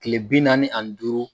Tile bi naani ani duuru